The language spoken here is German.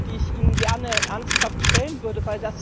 die ich Ihnen gerne ernsthaft stellen würde.